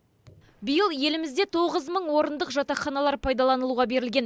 биыл елімізде тоғыз мың орындық жатақханалар пайдаланылуға берілген